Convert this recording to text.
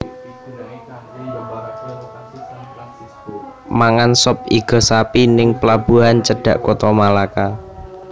Mangan sop igo sapi ning pelabuhan cedhak Kota Malaka